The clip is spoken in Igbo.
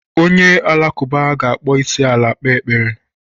Onye Alakụba ga-akpọ isiala kpee ekpere.